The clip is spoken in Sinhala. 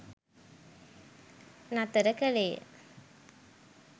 නතර කළේය.